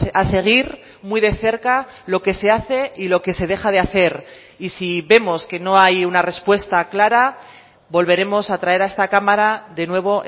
a seguir muy de cerca lo que se hace y lo que se deja de hacer y si vemos que no hay una respuesta clara volveremos a traer a esta cámara de nuevo